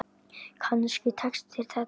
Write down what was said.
Kannski tekst þér þetta.